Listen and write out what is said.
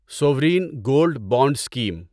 Soren gold bond scheme